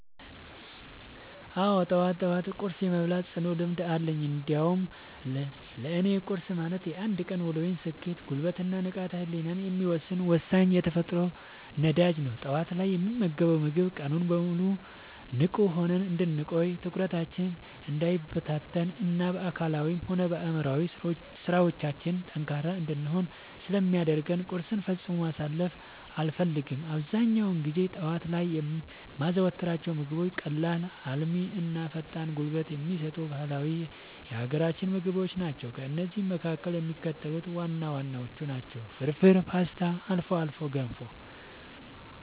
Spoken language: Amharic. አዎ፣ ጠዋት ጠዋት ቁርስ የመብላት ጽኑ ልምድ አለኝ። እንዲያውም ለእኔ ቁርስ ማለት የአንድ ቀን ውሎዬን ስኬት፣ ጉልበት እና ንቃተ ህሊናዬን የሚወሰን ወሳኝ የተፈጥሮ ነዳጅ ነው። ጠዋት ላይ የምንመገበው ምግብ ቀኑን ሙሉ ንቁ ሆነን እንድንቆይ፣ ትኩረታችን እንዳይበታተን እና በአካላዊም ሆነ በአእምሯዊ ስራዎቻችን ላይ ጠንካራ እንድንሆን ስለሚያደርገን ቁርስን ፈጽሞ ማሳለፍ አልፈልግም። አብዛኛውን ጊዜ ጠዋት ላይ የማዘወትራቸው ምግቦች ቀላል፣ አልሚ እና ፈጣን ጉልበት የሚሰጡ ባህላዊ የሀገራችንን ምግቦች ናቸው። ከእነዚህም መካከል የሚከተሉት ዋና ዋናዎቹ ናቸው፦ ፍርፍር: ፖስታ: አልፎ አልፎ ገንፎ